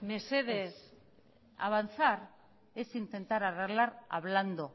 mesedez avanzar es intentar arreglar hablando